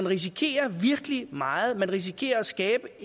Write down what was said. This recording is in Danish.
risikerer virkelig meget man risikerer at skabe